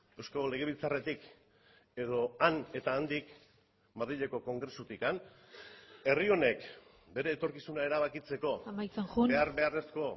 eusko legebiltzarretik edo han eta handik madrileko kongresutik herri honek bere etorkizuna erabakitzeko amaitzen joan behar beharrezko